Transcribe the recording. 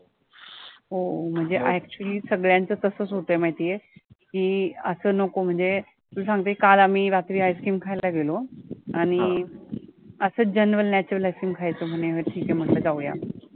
हो म्हणजे actually सगळ्यांचं तसंच होतंय माहितीये की असं नको म्हणजे मी सांगते काल आम्ही रात्री ice cream खायला गेलो आणि असच genuine natural ice cream खायचं म्हणून ठिके म्हंटलं जाऊया.